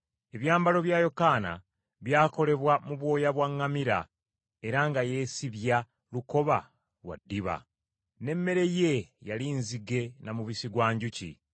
Ebyambalo bya Yokaana byakolebwa mu bwoya bwa ŋŋamira, era nga yeesibya lukoba lwa ddiba. N’emmere ye yali nzige na mubisi gwa njuki.